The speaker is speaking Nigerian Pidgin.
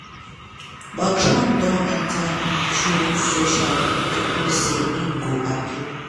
but trump don enta im truth social to post say im go appeal.